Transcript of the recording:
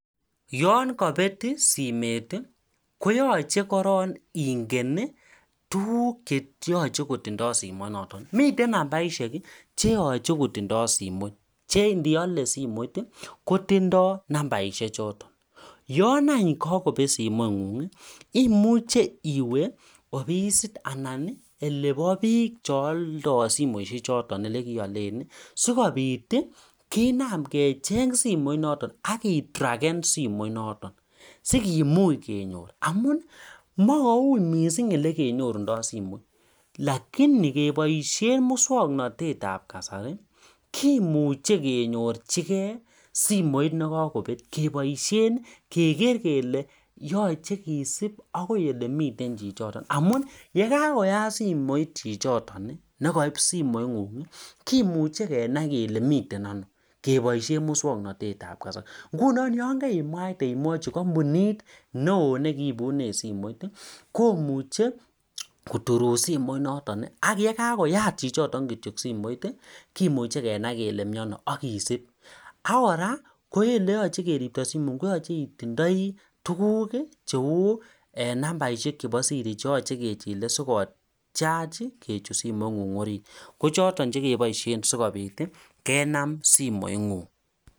Yangabit simet koyache korong Ingen tuguk cheyache kotindo simoit noton miten numbaishek cheyache koitindoi simoit chendiyole simoit kotindo nambarishek choton yangakobet simoingung imuche iwe ofisit anan oleba bik cheyaldoi simoishek choton ak yelekiyalen sikobit Kina kecheng simoit noton akitraken simoit noton sikumuch kenyor amun makuwui mising olekenyorundo somoit lakini kebaishen muswaknatet Nebo kasari kimuche kenyorchigei simoit nekakobet kebaishen kegere kele yache kesib akoi yelemi miten chichiton ak yekakoyat simoit chichiton nekaib simoit ngung kemuche Kenai Kole miten ano kebaishen muswaknatet Nebo kasari ngunon yangaimwachi kambunit neon nikiibunen simoit komuche koturun simoit noton ayekakoyat chichiton simoit kimuche Kenai Kole miten ano akesib akoraa oleyache keribto simoit koyache itindoi tuguk cheu nambarishek chebo Siri cheyache Ile sikotiach Kole simoit nengung kochaton chekibaishen Kenam simoit ngung